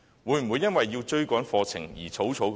會否因為要追趕課程而草草授課？